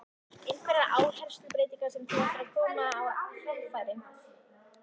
Einhverjar áherslubreytingar sem þú ætlar að koma á framfæri?